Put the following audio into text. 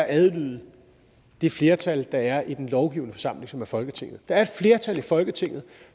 at adlyde det flertal der er i den lovgivende forsamling som er folketinget der er et flertal i folketinget